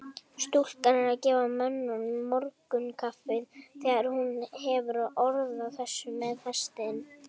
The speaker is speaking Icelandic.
Stúlkan er að gefa mönnunum morgunkaffið þegar hún hefur orð á þessu með hestinn.